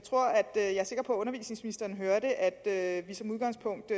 er sikker på at undervisningsministeren hørte at vi som udgangspunkt